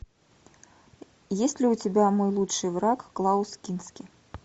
есть ли у тебя мой лучший враг клаус кински